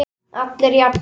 Allir jafnir.